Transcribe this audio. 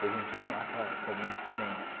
Hoje em dia lá está está bem diferente.